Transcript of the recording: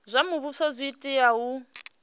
zwa muvhuso zwi tea u